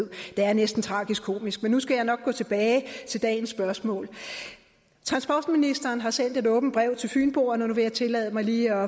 det er næsten tragikomisk men nu skal jeg nok gå tilbage til dagens spørgsmål transportministeren har sendt et åbent brev til fynboerne og nu vil jeg tillade mig lige